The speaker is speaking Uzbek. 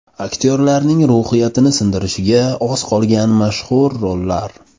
Aktyorlarning ruhiyatini sindirishiga oz qolgan mashhur rollar .